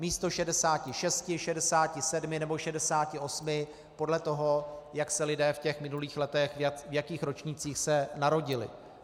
Místo 66, 67 nebo 68, podle toho, jak se lidé v těch minulých letech, v jakých ročnících se narodili.